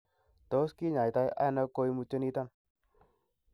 Tos kinyaita ono koimutioniton?